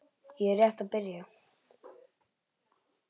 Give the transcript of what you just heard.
Ég er rétt að byrja!